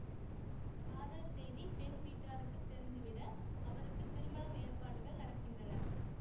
காதல் செய்தி பெண் வீட்டாருக்கு தெரிந்துவிட அவருக்கு திருமணம் ஏற்பாடுகள் நடக்கின்றன